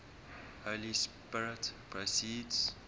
holy spirit proceeds